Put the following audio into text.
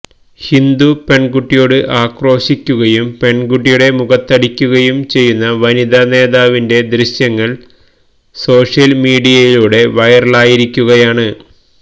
ഹിന്ദു പെൺകുട്ടിയോട് ആക്രോശിക്കുകയും പെൺകുട്ടിയുടെ മുഖത്തടിക്കുകയും ചെയ്യുന്ന വനിതാ നേതാവിന്റെ ദൃശ്യങ്ങൾ സോഷ്യൽ മീഡിയയിലൂടെ വൈറലായിരിക്കുകയാണ്